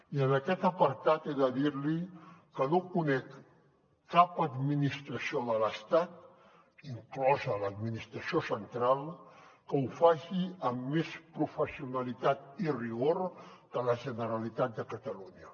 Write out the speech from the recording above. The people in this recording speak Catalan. i en aquest apartat he de dir li que no conec cap administració de l’estat inclosa l’administració central que ho faci amb més professionalitat i rigor que la generalitat de catalunya